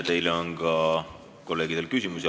Teile on kolleegidel ka küsimusi.